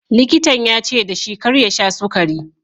Likitan ya ce da shi kar ya sha sukari.